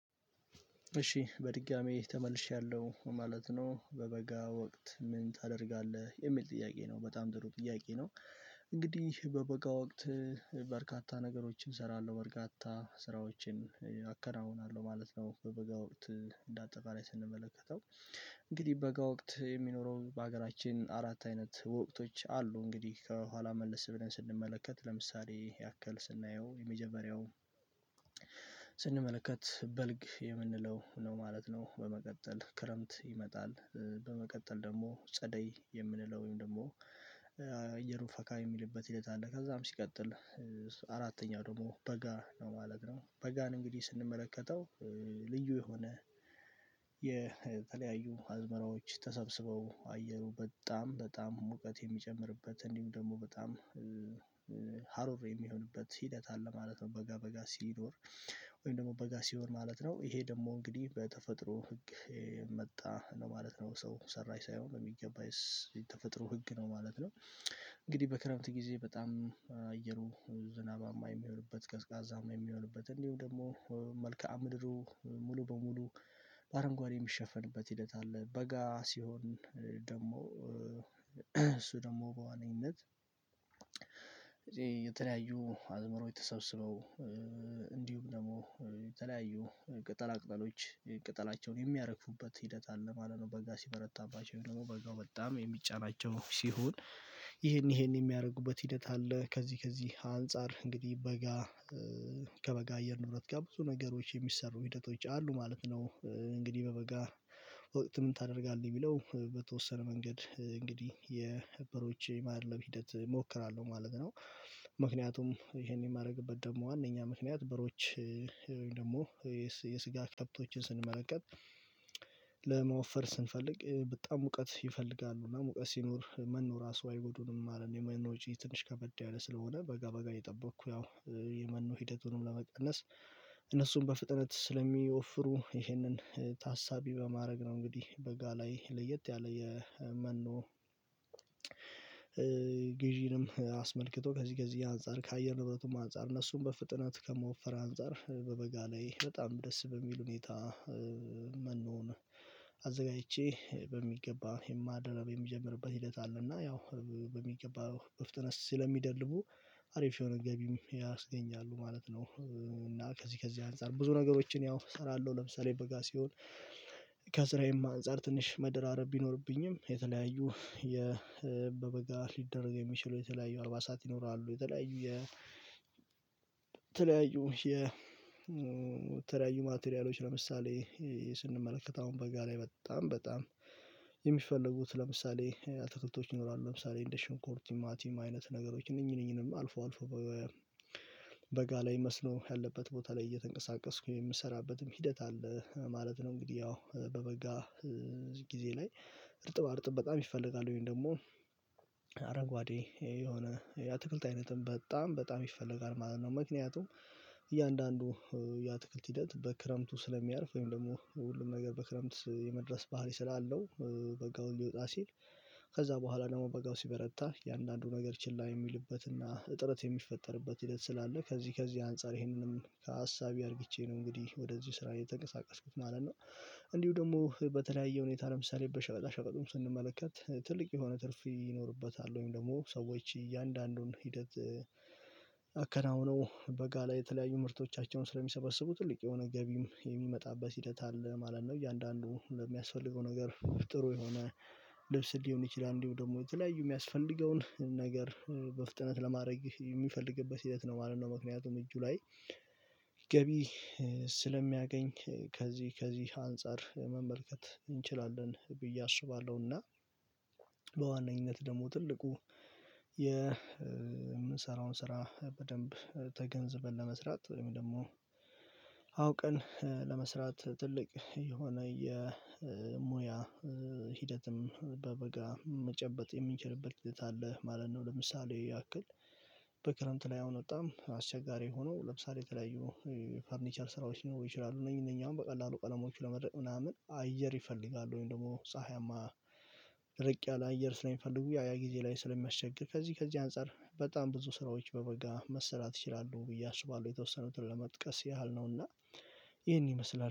እሺ በድጋሚ ተመልሻለሁ ማለት ነው በበጋ ወቅት ምን ታደርጋለህ የሚል ጥያቄ ነው በጣም ጥሩ ጥያቄ ነው። እንግዲህ በበጋ ወቅት። በርካታ ነገሮችን እሰራለሁ በርካታ ስራዎችን አከናውናለሁ ማለት ነው። በበጋ ወቅት እንደ አጠቃላይ ስንመለከተው። እንግዲህ በጋ ወቅት የሚኖረው በሀገራችን አራት አይነት ወቅቶች አሉ እንግዲህ ከኋላ መልስ ብለን ስንመለከት ለምሳሌ ያክል ስናየው የመጀመሪያው ስንመለከት በልግ የምንለው ነው ማለት ነው። በመቀጠል ክረምት ይመጣል። በመቀጠል ደግሞ ጸደይ የምንለው ወይም ደግሞ አየሩ ፈካ የሚልበት ሂደት አለ። ከዛም ሲቀጥል አራተኛው ደግሞ በጋ ነው ማለት ነው። በጋን እንግዲህ ስንመለከተው። ልዩ የሆነ የተለያዩ አዝመራዎች ተሰብስበው አየሩ በጣም በጣም ሙቀት የሚጨምርበት እንዲሁም ደግሞ በጣም የሚሆንበት ሂደት አለ ማለት ነው። በጋ በጋ ሲኖር ወይም ደግሞ በጋ ሲኖር ማለት ነው። ይሄ ደግሞ እንግዲህ በተፈጥሮ ህግ የመጣ ለማለት ነው ሰው ሰራሽ ሳይሆን በሚገባ የተፈጥሮ ህግ ነው ማለት ነው። እንግዲህ በክረምት ጊዜ በጣም አየሩ ዝናባማ የሚሆንበት ቀዝቃዛም የሚሆንበት እንዲሁ ደግሞ መልከአ ምድሩ ሙሉ በሙሉ በአረንጓዴ የሚሸፈንበት ሂደት አለ። በጋ ሲሆን ደግሞ እሱ ደግሞ በዋነኝነት የተለያዩ አዝምሮች ተሰበሰበው እንዲሁም ደግሞ የተለያዩ ቅጠላ ቅጠሎች ቅጠላቸውን የሚያረግፉበት ሂደት አለ ማለት ነው። በጋ ሲበረታባቸው ደግሞ በጋው በጣም የሚጫናቸው ሲሆን ይሄን ይሄን የሚያደርጉበት ሂደት አለ። ከዚህ ከዚህ አንፃር እንግዲህ በጋ ከበጋ አየር ንብረት ጋር ብዙ ነገሮች የሚሰሩ ሂደቶች አሉ ማለት ነው። እንግዲህ በበጋ ወቅት ምን ታደርጋለህ የሚለው በተወሰነ መንገድ እንግዲህ የበሮች የማድለብ ሂደት እሞክራለሁ ማለት ነው። ይሄን የማደርግበት ደግሞ ዋናኛ ምክንያት በሮች ወይም ደግሞ የስጋ ከብቶችን ስንመለከት ለመወፈር ስንፈልግ በጣም ሙቀት ይፈልጋሉ እና ሙቀት ሲኖር መኖ ራሱ አይጎዱንም ማለት ነው። የመኖ ወጪ ትንሽ ከበድ ያለ ስለሆነ በጋ በጋ እየጠበቅኩ ያው የመኖ ሂደቱንም ለመቀነስ እነሱን በፍጥነት ስለሚወፍሩ ይህንን ታሳቢ በማድረግ ነው። እንግዲህ በጋ ላይ ለየት ያለ የመኖ ግዢንም አስመልክቶ ከዚህ ከዚህ አንፃር ከአየር ንብረቱም አንፃር እነሱም በፍጥነት ከመወፈር አንፃር በበጋ ላይ በጣም ደስ በሚል ሁኔታ መኖን አዘጋጅቼ በሚገባ የማድለብ የምጀምርበት ሂደት አለና ያው በሚገባ በፍጥነት ስለሚደልቡ አሪፍ የሆነ ገቢም ያስገኛሉ ማለት ነው። እና ከዚህ ከዚህ አንፃር ብዙ ነገሮችን ያው እሰራለሁ ለምሳሌ በጋ ሲሆን ከስራዬም አንፃር ትንሽ መደራረብ ቢኖርብኝም የተለያዩ የ በበጋ ሊደረግ የሚችለው የተለያዩ አልባሳት ይኖራሉ። የተለያዩ የ የተለያዩ የተለያዩ ማቴሪያሎች ለምሳሌ ስንመለከት አሁን በጋ ላይ በጣም በጣም የሚፈልጉት ለምሳሌ አትክልቶች ይኖራሉ ለምሳሌ እንደ ሽንኩርት ቲማቲም አይነት ነገሮች እነኚህ እነኚህንም አልፎ አልፎ በጋ ላይ መስኖ ያለበት ቦታ ላይ እየተንቀሳቀስኩ የምሰራበትም ሂደት አለ ማለት ነው። እንግዲህ ያው በበጋ ጊዜ ላይ እርጥብ አርጥብ በጣም ይፈልጋል ወይም ደግሞ አረጓዴ የሆነ የአትክልት አይነትም በጣም በጣም ይፈለጋል ማለት ነው። ምክንያቱም እያንዳንዱ የአትክልት ሂደት በክረምቱ ስለሚያርፍ ወይም ደግሞ ሁሉም ነገር በክረምት የመድረስ ባህሪ ስላለው በጋውን ሊወጣ ሲል ከዛ በኋላ ደግሞ በጋው ሲበረታ እንዳንዱ ነገር ችላ የሚልበትና እጥረት የሚፈጠርበት ሂደት ስላለ ከዚህ ከዚህ አንፃር ይሄንንም ታሳቢ ያርግቼ ነው እንግዲህ ወደዚህ ስራ እየተንቀሳቀስኩት ማለት ነው። እንዲሁ ደግሞ በተለያየ ሁኔታ ለምሳሌ በሸቀጣ ሸቀጡን ስንመለከት ትልቅ የሆነ ትርፍ ይኖርበታል ወይም ደግሞ ሰዎች እያንዳንዱን ሂደት አከናውነው በጋ ላይ የተለያዩ ምርቶቻቸውን ስለሚሰበስቡ ትልቅ የሆነ ገቢም የሚመጣበት ሂደት አለ ማለት ነው። እያንዳንዱ ለሚያስፈልገው ነገር ጥሩ የሆነ ልብስ ሊሆን ይችላል። እንዲሁ ደግሞ የተለያዩ የሚያስፈልገውን ነገር በፍጥነት ለማድረግ የሚፈልግበት ሂደት ነው ማለት ነው። ምክንያቱም እጁ ላይ ገቢ ስለሚያገኝ ከዚህ ከዚህ አንፃር መመልከት እንችላለን ብዬ እና በዋነኝነት ደግሞ ትልቁ የምንሰራውን ስራ በደንብ ተገንዝበን ለመስራት ወይም ደግሞ አውቀን ለመስራት ትልቅ የሆነ የሙያ ሂደትም በበጋ መጨበጥ የምንችልበት ሂደት አለ። ማለት ነው። ለምሳሌ ያክል በክረምት ላይ አሁን በጣም አስቸጋሪ ሆኖ ለምሳሌ የተለያዩ ፈርኒቸር ስራዎች ሊኖሩ ይችላሉ። እነኚህ እነኚህ አሁን በቀላሉ ቀለሞች ለመድረቅ ምናምን አየር ይፈልጋሉ ወይም ደግሞ ፀሀያማ ደረቅ ያለ አየር ስለሚፈልጉ ያ ያ ጊዜ ላይ ስለሚያስቸግር ከዚህ ከዚህ አንፃር በጣም ብዙ ስራዎች በበጋ መሰራት ይችላሉ። ብዬ አስባለሁ የተወሰኑትን ለመጥቀስ ያህል ነውና ይሄን ይመስላል